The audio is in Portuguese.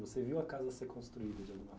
Você viu a casa ser construída de alguma?